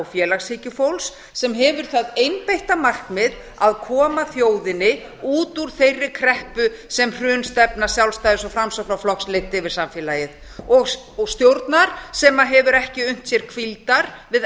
félagshyggjufólks sem hefur það einbeitta markmið að koma þjóðinni út úr þeirri kreppu sem hrunstefna sjálfstæðis og framsóknarflokks leiddi yfir samfélagið og stjórnar sem hefur ekki unnt sér hvíldar við